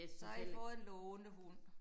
Så har i fået en lånehund